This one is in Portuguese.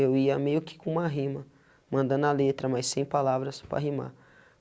Eu ia meio que com uma rima, mandando a letra, mas sem palavras, para rimar.